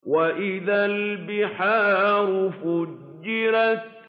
وَإِذَا الْبِحَارُ فُجِّرَتْ